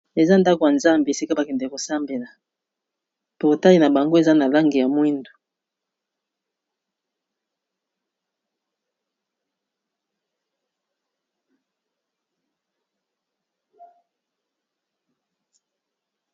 Eza ndako ya nzambe esika ba kendeke ko sambela . Portail na bango eza na langi ya mwindu .